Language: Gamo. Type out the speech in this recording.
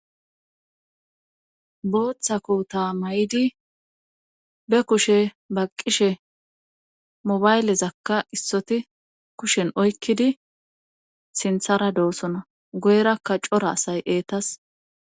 Booththa kota may7idi be kushe baqqishe mobaylezakka issoti kushen oykkidi sinthara doosona goyrakka cora asay eetas.